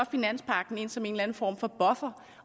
finanspagten ind som en form for buffer